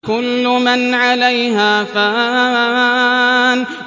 كُلُّ مَنْ عَلَيْهَا فَانٍ